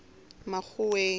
makgoweng